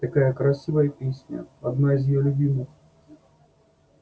такая красивая песня одна из её любимых